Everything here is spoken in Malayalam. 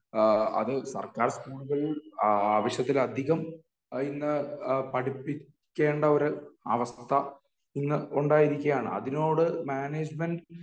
എഹ് അത് സർക്കാർ സ്കൂളുകളിൽ ആവശ്യത്തിലധികം ഇന്ന് എഹ് പഠിപ്പിക്കേണ്ട ഒരു അവസ്ഥ ഇന്ന് ഉണ്ടായിരിക്കേണ് അതിനോട് മാനേജ്‌മെറ്റ്